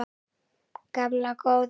Gamla góða